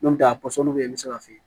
N'o tɛ a pɔsɔni bɛ yen n bɛ se ka fiyɛ